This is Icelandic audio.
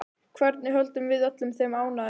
Hvernig höldum við öllum þeim ánægðum?